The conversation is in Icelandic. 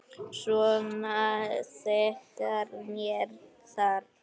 Svona þegar með þarf.